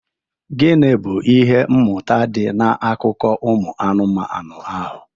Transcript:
Gịnị bụ ihe mmụta dị n'akụkọ ụmụ anụmanụ ahụ?